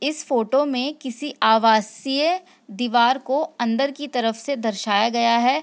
इस फोटो में किसी आवासीय दीवार को अंदर की तरफ से दर्शाया गया है।